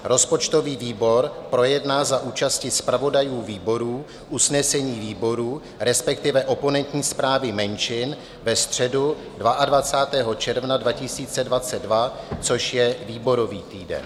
Rozpočtový výbor projedná za účasti zpravodajů výborů usnesení výborů, respektive oponentní zprávy menšin, ve středu 22. června 2022 - což je výborový týden.